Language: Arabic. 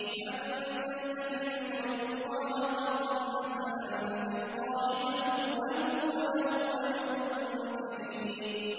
مَّن ذَا الَّذِي يُقْرِضُ اللَّهَ قَرْضًا حَسَنًا فَيُضَاعِفَهُ لَهُ وَلَهُ أَجْرٌ كَرِيمٌ